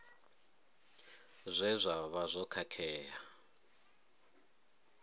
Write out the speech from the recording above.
zwe zwa vha zwo khakhea